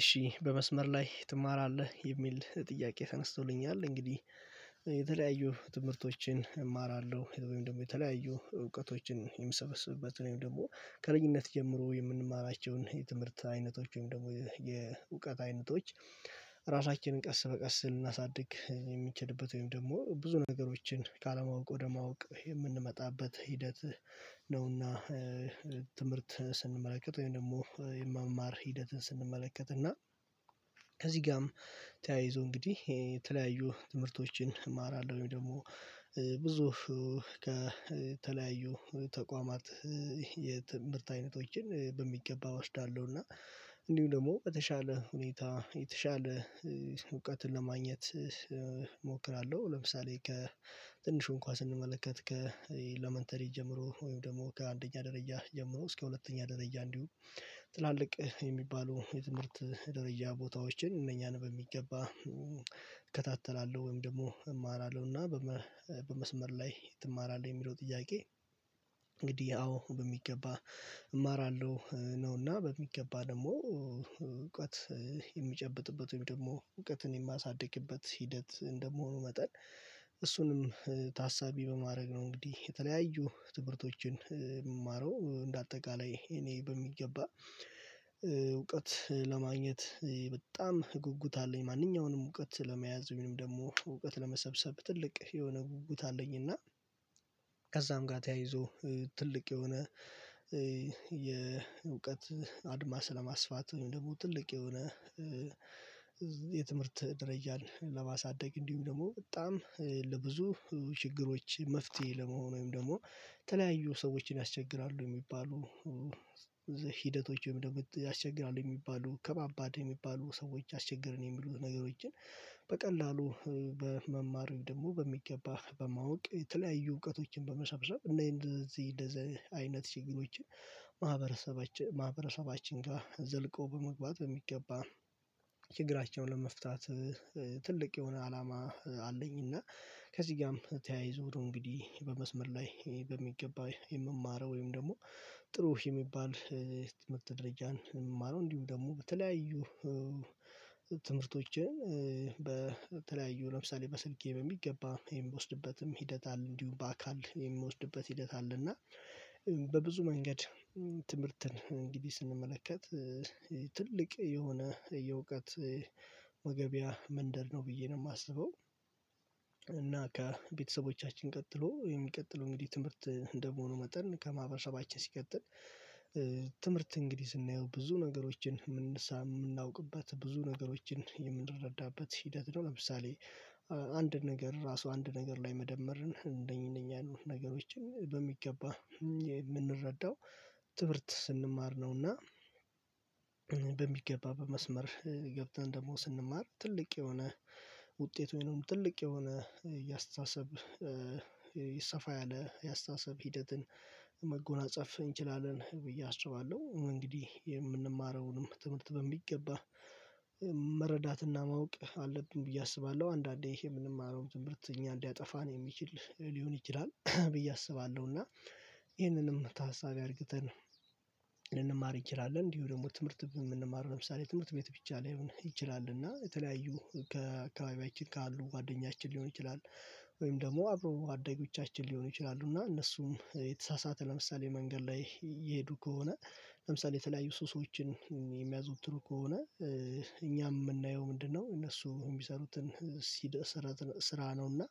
እሺ በመስመር ላይ ትማራለህ የሚል ጥያቄ ተነስቶልኛል። እንግዲህ የተለያዩ ትምህርቶችን እማራለሁ ወይም ደግሞ የተለያዩ እውቀቶችን የሚሰበስብበት ወይም ደግሞ ከልኝነት ጀምሮ የምንማራቸውን እነኚ የትምህርት አይነቶች ወይም ደግሞ የእውቀት አይነቶች። ራሳችንን ቀስ በቀስ ልናሳድግ የሚችልበት ወይም ደግሞ ብዙ ነገሮችን ካለማወቅ ወደ ማወቅ የምንመጣበት ሂደት ነውና። ትምህርት ስንመለከት ወይም ደግሞ የመማር ሂደትን ስንመለከት እና ከዚህ ጋርም ተያይዞ እንግዲህ የተለያዩ ትምህርቶችን እማራለሁ ወይም ደግሞ ብዙ ከተለያዩ ተቋማት የትምህርት አይነቶችን በሚገባ እወዳለሁ። እና እንዲሁም ደግሞ በተሻለ ሁኔታ የተሻለ እውቀትን ለማግኘት እሞክራለሁ። ለምሳሌ ከትንሹን እንኳን ስንመለከት ከኤለመንተሪ ጀምሮ ወይም ደግሞ ከአንደኛ ደረጃ ጀምሮ እስከ ሁለተኛ ደረጃ እንዲሁም ትላልቅ የሚባሉ የትምህርት ደረጃ ቦታዎችን እነኛን በሚገባ እከታተላለሁ ወይም ደግሞ እማራለሁና። በመስመር ላይ ትማራለህ የሚለው ጥያቄ? እንግዲህ አዎ በሚገባ እማራለሁ። ነውና በሚገባ ደግሞ እውቀት የሚጨብጥበት ወይም ደግሞ እውቀትን የማሳድግበት ሂደት እንደመሆኑ መጠን። እሱንም ታሳቢ በማድረግ ነው እንግዲህ የተለያዩ ትምህርቶችን የምማረው እንደ አጠቃላይ እኔ በሚገባ እውቀት ለማግኘት በጣም ጉጉት አለኝ። ማንኛውንም እውቀት ለመያዝ ወይም ደግሞ እውቀት ለመሰብሰብ ትልቅ የሆነ ጉጉት አለኝና። ከዛም ጋር ተያይዞ ትልቅ የሆነ አድማስ ለማስፋት ትልቅ የሆነ የትምህርት ድረጃን ለማሳደግ እንዲሁም ደግሞ በጣም ለብዙ ችግሮች መፍትሄ ለመሆን ወይም ደግሞ የተለያዩ ሰዎችን ያስቸግራሉ የሚባሉ ሂደቶች ወይም ደሞ ያስቸግራሉ የሚባሉ ከባባድ የሚባሉ ሰዎች አስቸገርን የሚሉ ነገሮችን በቀላሉ በመማር ወይም ደግሞ በሚገባ በማወቅ የተለያዩ እውቀቶችን በመሰብሰብ እንደዚህ እንደዚህ። አይነት ችግሮችን ማህበረሰባችን ማህበረሰባችን ጋር ዘልቆ በመግባት በሚገባ ችግራቸውን ለመፍታት ትልቅ የሆነ አላማ አለኝ። እና ከዚህ ጋርም ተያይዞ እንግዲህ በመስመር ላይ በሚገባ የምማረው ወይም ደግሞ ጥሩ የሚባል የትምህርት ደረጃን የምማረው እንዲሁ ደግሞ በተለያዩ ትምህርቶችን። በተለያዩ ለምሳሌ በስልኬ በሚገባ ይሄን ብወስድበትም ሂደት አለ እንዲሁም በአካል የምወስድበት ሂደት አለ እና በብዙ መንገድ ትምህርትን እንግዲህ ስንመለከት ትልቅ የሆነ የእውቀት መገቢያ መንደር ነው ብዬ ነው የማስበው። እና ከቤተሰቦቻችን ቀጥሎ የሚቀጥለው እንግዲህ ትምህርት እንደመሆኑ መጠን ከማህበረሰባችን ሲቀጥል ትምህርት እንግዲህ ስናየው ብዙ ነገሮችን የምናውቅበት ብዙ ነገሮችን የምንረዳበት ሂደት ነው። ለምሳሌ አንድ ነገር ራሱ አንድ ነገር ላይ መደመርን እንደኛ እነኛ ነገሮችን በሚገባ የምንረዳው ትምህርት ስንማር ነው። እና በሚገባ በመስመር ገብተን ደግሞ ስንማር ትልቅ የሆነ ውጤት ወይንም ትልቅ የሆነ የአስተሳሰብ ይሰፋ ያለ የአስተሳሰብ ሂደትን መጎናጸፍ እንችላለን ብዬ አስባለሁ። እንግዲህ የምንማረውንም ትምህርት በሚገባ መረዳትና ማወቅ አለብን ብዬ አስባለሁ። አንዳንዴ የምንማረው ትምህርት እኛ ሊያጠፋን የሚችል ሊሆን ይችላል ብዬ አስባለሁ። እና ይህንንም ታሳቢ አድርግተን ልንማር ይችላለን እንዲሁ ደግሞ ትምህርት የምንማረው ለምሳሌ ትምህርት ቤት ብቻ ላይሆን ይችላል እና የተለያዩ ከአካባቢያችን ካሉ ጓደኛችን ሊሆን ይችላል። ወይም ደግሞ አብሮ አደኞቻችን ሊሆኑ ይችላሉ እና እነሱም የተሳሳተ ለምሳሌ መንገድ ላይ የሄዱ ከሆነ ለምሳሌ የተለያዩ ሱስዎችን የሚያዙወትሩ ከሆነ እኛም የምናየው ምንድነው እነሱ እሚሰሩትን ሲደርስ ስራ ነው። እና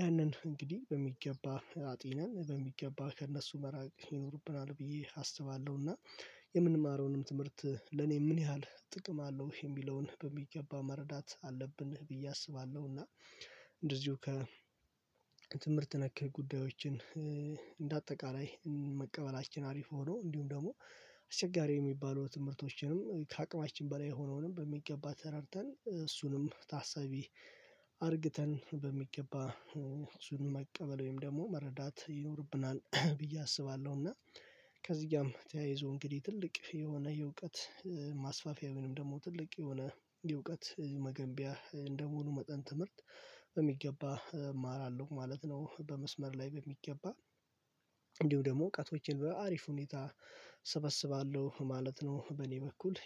ያንን እንግዲህ በሚገባ አጢነን በሚገባ ከእነሱ መራቅ ይኖርብናል ብዬ አስባለሁና። የምንማረውንም ትምህርት ለኔ ምን ያህል ጥቅም አለው የሚለውን በሚገባ መረዳት አለብን ብዬ አስባለሁ። እና እንደዚሁ ከ ትምህርት ነክህ ጉዳዮችን እንደ አጠቃላይ መቀበላችን አሪፍ ሆኖ እንዲሁም ደግሞ አስቸጋሪ የሚባሉ ትምህርቶችንም ከአቅማችን በላይ የሆነውንም በሚገባ ተረድተን እሱንም ታሰቢ አድርግተን በሚገባ እሱንም መቀበል ወይም ደግሞ መረዳት ይኖርብናል ብዬ አስባለሁ። እና ከዚህ ጋር ተያይዞ እንግዲህ ትልቅ የሆነ የእውቀት ማስፋፊያ ምንም ደግሞ ትልቅ የሆነ የእውቀት መገንቢያ እንደመሆኑ መጠን ትምህርት በሚገባ እማራለሁ ማለት ነው። በመስመር ላይ በሚገባ እንዲሁ ደግሞ እውቀቶቼን በአሪፍ ሁኔታ ሰበስባለሁ ማለት ነው። በእኔ በኩል